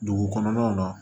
Dugu kɔnɔnaw na